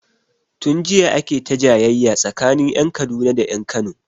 Tun jiya ake ta jayayya tsakanin ƴan Kaduna da ƴan Kano